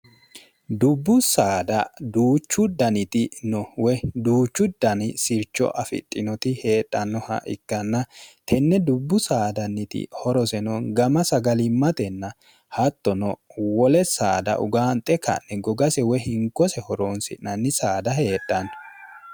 dubbu saada duuchu daniti no woy duuchu dani sircho afixhinoti heedhannoha ikkanna tenne dubbu saadanniti horoseno gama sagalimmatenna hattono wole saada ugaanxe ka'ne gogase woy hingose horoonsi'nanni saada heedhanno